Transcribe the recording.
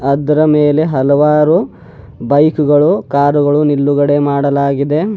ಅದರ ಮೇಲೆ ಹಲವಾರು ಬೈಕು ಗಳು ಕಾರು ಗಳು ನಿಲ್ಲುಗಡೆ ಮಾಡಲಾಗಿದೆ.